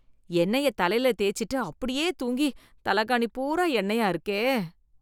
எண்ணெய தலைல தேய்ச்சிட்டு அப்படியே தூங்கி தலைகாணி பூரா எண்ணெயா இருக்கே.